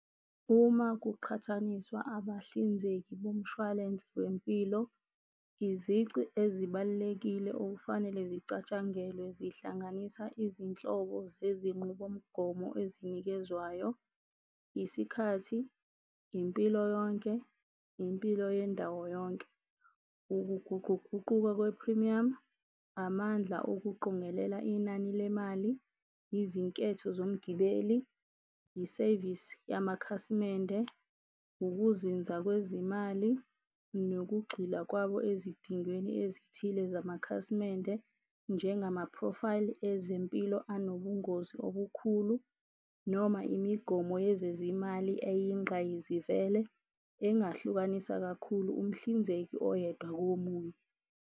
Uma kuqhathaniswa abahlinzeki bomshwalense wempilo izici ezibalulekile okufanele zicatshangelwe zihlanganisa izinhlobo zezinqubomgomo ezinikezwayo, isikhathi, impilo yonke, impilo yendawo yonke, ukuguquguquka kwe-premium, amandla okuqongelela inani lemali, yizinketho zomgibeli, isevisi yamakhasimende, ukuzinza kwezimali nokugxila kwabo ezidingweni ezithile zamakhasimende. Njengamaphrofayili ezempilo anobungozi obukhulu, noma imigomo yezezimali eyingqayizivele engahlukanisa kakhulu umhlinzeki oyedwa komunye.